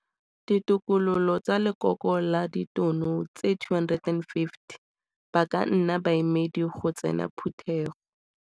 Ditokololo tsa Lekoko la Ditono tse 250 ba ka nna baemedi go tsena Phutego.